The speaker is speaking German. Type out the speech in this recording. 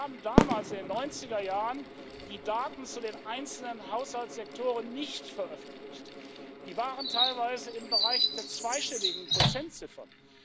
Wir haben damals in den 90er Jahren die Daten zu den einzelnen Haushaltssektoren nicht veröffentlicht, die waren teilweise im Bereich der zweistelligen Prozentziffern.